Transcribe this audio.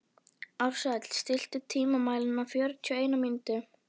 Ársæll, stilltu tímamælinn á fjörutíu og eina mínútur.